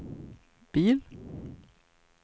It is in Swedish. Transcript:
bil